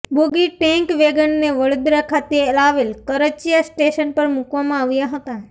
બોગી tank વેગનને વડોદરા ખાતે આવેલ કરચીયા સ્ટેશન પર મુકવામાં આવ્યા હતા